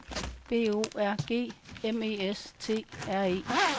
B O R G M E S T R E